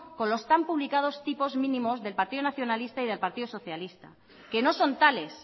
con los tan publicados tipos mínimos del partido nacionalista y del partido socialista que no son tales